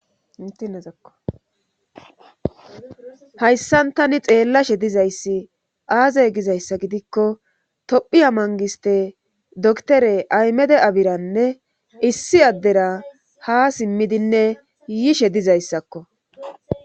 itieahayssan tani xeellashe dizayssi aazey gizayssa gidikko tophiya mangiste doktere aymede abiranne issi addera ha simmidinne yishe dizayssakko